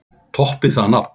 Toppið það nafn!